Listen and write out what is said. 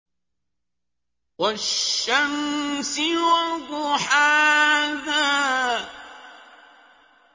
وَالشَّمْسِ وَضُحَاهَا